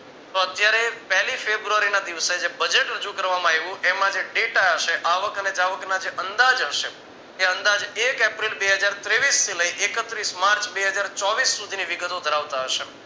તો અત્યારે પેલી ફેબ્રુઆરીના દિવસે જે budget રજુ કરવામાં આવ્યું એમાં જે data હશે આવક અને જાવક ને જે અંદાજ હશે કે અંદાજ એક એપ્રિલ બે હજાર તેવીસ થી લઈ એકત્રીસ માર્ચ બે હજાર ચોવીશ સુધી ની વિગતો ધરાવતા હશે